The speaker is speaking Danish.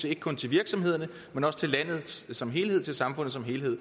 ikke kun til virksomhederne men også til landet som helhed til samfundet som helhed